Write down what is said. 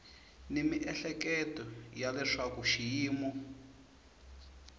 ni miehleketo ya leswaku xiyimo